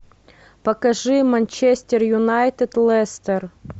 покажи манчестер юнайтед лестер